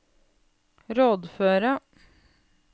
rådføre